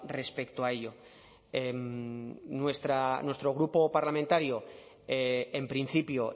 respecto a ello nuestro grupo parlamentario en principio